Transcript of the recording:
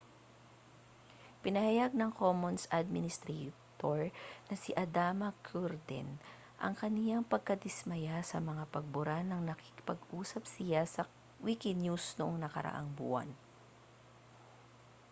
ipinahayag ng commons administrator na si adama cuerden ang kaniyang pagkadismaya sa mga pagbura nang nakipag-usap siya sa wikinews noong nakaraang buwan